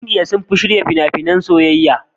Indiya sun fi shirya fina-finan soyayya.